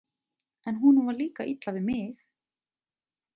En honum var líka illa við mig.